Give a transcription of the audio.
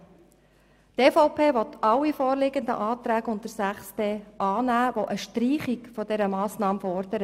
Die EVP nimmt alle vorliegenden Anträge unter Kapitel 6.d an, die eine Streichung der Massnahme fordern.